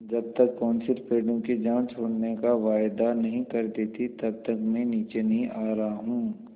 जब तक कौंसिल पेड़ों की जान छोड़ने का वायदा नहीं कर देती तब तक मैं नीचे नहीं आ रहा हूँ